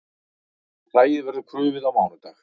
Hræið verður krufið á mánudag